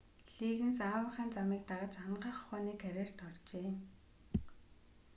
лиггинс аавынхаа замыг дагаж анагаах ухааны карьерт оржээ